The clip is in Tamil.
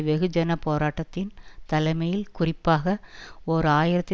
வெகுஜனப் போராட்டத்தின் தலைமையில் குறிப்பாக ஓர் ஆயிரத்தி